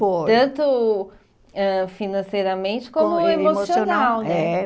Foi. Tanto ãh financeiramente como emocional, né? É.